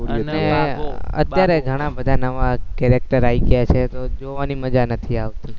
અત્યારે ઘણા બધા નવા character આવી ગયા છે તો જોવાની મજા નથી આવતી